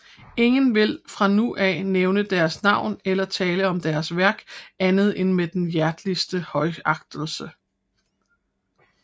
Ingen vil fra nu af nævne Deres navn eller tale om Deres værk andet end med den hjerteligste højagtelse